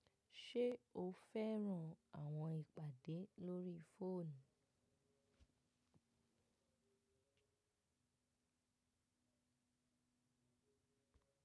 Ṣé o fẹ́ran àwọn ìpàdé lórí fóònù?